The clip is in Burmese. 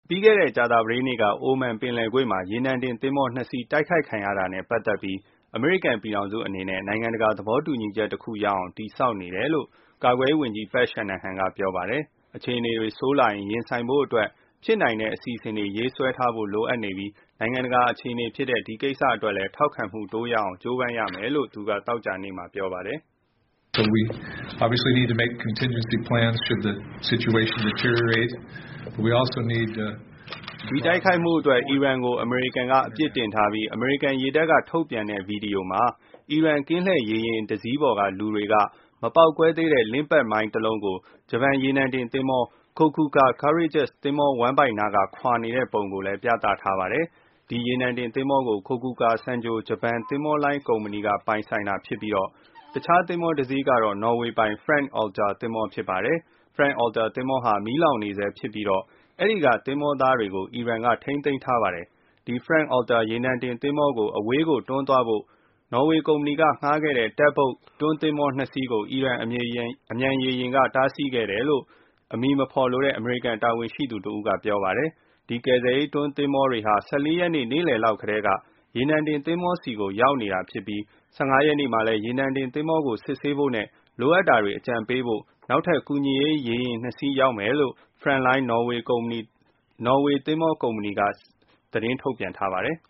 ပြီးခဲ့တဲ့ ကြာသပတေးနေ့ က အိုမန်ပင်လယ်ကွေ့မှာ ရေနံတင်သင်္ဘော နှစ်စီး တိုက်ခိုက်ခံရတာနဲ့ ပတ်သက်ပြီး တုံ့ပြန်ဖို့ အမေရိကန် ပြည်ထောင်စု အနေနဲ့ နိုင်ငံတကာ သဘောတူညီချက် တခုရအောင် တည်ဆောက်နေတယ်လို့ ကာကွယ်ရေး ဝန်ကြီး Pat Shanahan က ပြောပါတယ်။ အခြေအနေတွေ ဆိုးလာရင် ရင်ဆိုင်ဖို့အတွက် ဖြစ်နိုင်တဲ့ အစီအစဉ်တွေ ရေးဆွဲထားဖို့ လိုအပ်နေပြီး နိုင်ငံတကာအခြေအနေဖြစ်တဲ့ ဒီကိစ္စအတွက်လည်း ထောက်ခံမှု တိုးရအောင် ကြိုးပမ်းရမယ်လို့ သူက သောကြာနေ့မှာ ပြောပါတယ်။ ဒီတိုက်ခိုက်မှုအတွက် အီရန်ကို အမေရိကန်က အပြစ်တင်ထားပြီး အမေရိကန် ရေတပ်က ထုတ်ပြန်တဲ့ ဗီဒီယိုမှာ အီရန် ကင်းလှည့်ရေယာဉ် တစီးပေါ်က လူတွေက မပေါက်ကွဲသေးတဲ့ Limpet မိုင်း တလုံးကို ဂျပန် ရေနံတင်သင်္ဘော Kokuka Courageous သင်္ဘော ဝမ်းဗိုက်နားက ခွာနေတဲ့ ပုံ ဗီဒီယိုကို ထုတ်ပြန်ထားတာပါ။ ဒီရေနံတင် သင်္ဘောကို Kokuka Sangyo ဂျပန် သင်္ဘောလိုင်း ကုမ္ပဏီက ပိုင်ဆိုင်တာဖြစ်ပြီး တခြား တစီးကတော့ နော်ဝေပိုင် Front Altair သင်္ဘော ဖြစ်ပါတယ်။ Front Altair သင်္ဘောဟာ မီးလောင်နေဆဲ ဖြစ်ပြီးတော့ အဲ့ဒီက သင်္ဘောသားတွေကို အီရန် ထိန်းသိမ်းထားပါတယ်။ ဒီ Front Altair ရေနံတင် သင်္ဘောကို အဝေးကို တွန်းသွားဖို့ နော်ဝေ ကုမ္ပဏီက ငှားခဲ့တဲ့ Tug boat တွန်း သင်္ဘော နှစ် စီး ကို အီရန် အမြန်ရေယာဉ်တွေက တားဆီးခဲ့တယ်လို့ အမည်မဖော်လိုတဲ့ အမေရိကန် တာဝန်ရှိသူကတဦး က ပြောပါတယ်။ ဒီကယ်ဆယ်ရေး တွန်းသင်္ဘောတွေဟာ ၁၄ ရက်နေ့ နေ့လည်လောက်တည်းက ရေနံတင်သင်္ဘောဆီကို ရောက်နေတာဖြစ်ပြီး ၁၅ ရက်နေ့ မှာလည်း ရေနံတင်သင်္ဘောကို စစ်ဆေးဖို့နဲ့ လိုအပ်တာတွေ အကြံပေးဖို့ နောက်ထပ် ကူညီရေး ရေယာဉ် နှစ် စီး ရောက်မယ်လို့ Frontline နော်ဝေသင်္ဘောကုမ္ပဏီက CEO က သတင်းထုတ်ပြန်ထားပါတယ်